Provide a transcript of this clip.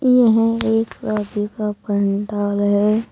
यह एक शादी का पंडाल है।